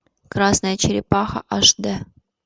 красная черепаха аш дэ